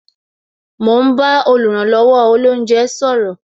Mo ń bá oluranlowo olounje sọ̀rọ̀